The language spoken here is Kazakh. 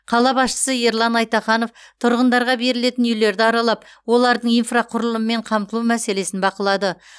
қала басшысы ерлан айтаханов тұрғындарға берілетін үйлерді аралап олардың инфрақұрылыммен қамтылу мәселесін бақылады